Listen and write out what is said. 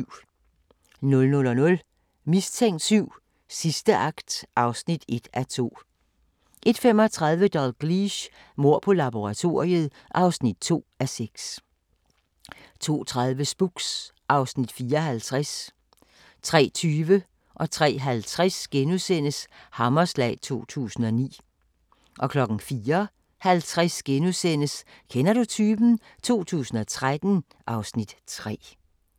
00:00: Mistænkt 7: Sidste akt (1:2) 01:35: Dalgliesh: Mord på laboratoriet (2:6) 02:30: Spooks (Afs. 54) 03:20: Hammerslag 2009 * 03:50: Hammerslag 2009 * 04:50: Kender du typen? 2013 (Afs. 3)*